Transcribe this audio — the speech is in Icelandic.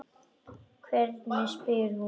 Hvernig spyr hún?